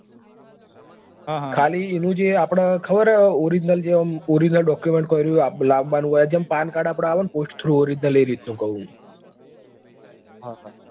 ખાલી એનું જે આપડે ખબર હ original જે આમ original document કો ને એ રહ્યું એ લાવવા નું હોય જેમ paan card આવે ને આપડે post throughoriginal એ રીત નું કઉં છું.